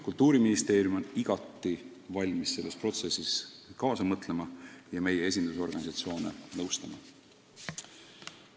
Kultuuriministeerium on igati valmis selles protsessis kaasa mõtlema ja esindusorganisatsioone nõustama.